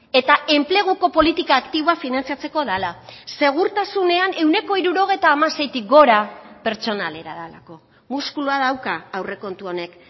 eta enpleguko politika aktiboa finantzatzeko dela segurtasunean ehuneko hirurogeita hamaseitik gora pertsonalera delako muskulua dauka aurrekontu honek